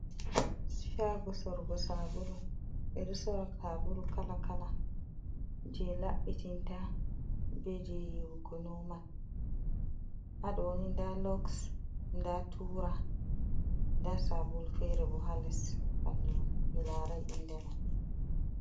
Shago sorgo sabulu ɓeɗo sora sabulu kala kala je laɓɓitinta be je yiwugo nomal, haɗoni nda loks, nda tura, nda sabul fere bo hales fandu mi larai inde man.